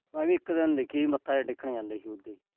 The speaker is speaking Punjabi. ਮੈਂ ਵੀ ਇਕ ਦਿਨ ਦੇਖੀ ਸੀ, ਮੱਥਾ ਜਾ ਟੇਕਣ ਜਾਂਦੇ ਸੀ।